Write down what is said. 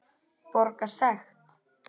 Borga sekt?